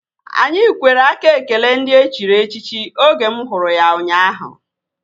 Anyị kwere aka ekele ndị e chiri echichi oge mụ hụrụ ya ụnyaahụ